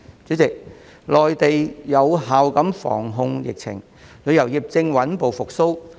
主席，內地有效防控疫情，旅遊業正穩步復蘇。